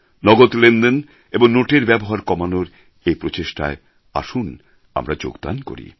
নগদ লেনদেন এবং নোটের ব্যবহার কমানোর এই প্রচেষ্টায় আসুন আমরা যোগদান করি